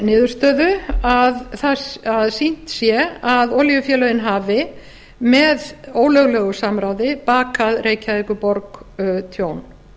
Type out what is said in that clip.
niðurstöðu að sýnt sé að olíufélögin hafi með ólöglegu samráði bakað reykjavíkurborg tjón